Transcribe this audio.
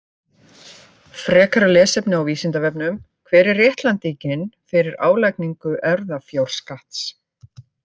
Frekara lesefni á Vísindavefnum: Hver er réttlætingin fyrir álagningu erfðafjárskatts?